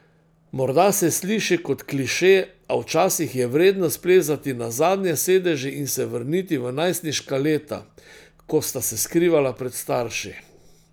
Morda se sliši kot kliše, a včasih je vredno splezati na zadnje sedeže in se vrniti v najstniška leta, ko sta se skrivala pred starši.